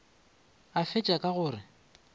a fetša ka go re